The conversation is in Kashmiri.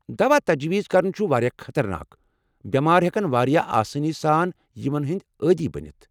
دوا تجویز كرُن چُھ واریاہ خطرناک، بٮ۪مار ہیٚکن واریاہ آسٲنی سان یمن ہنٛدۍ عٲدی بٔنِتھ۔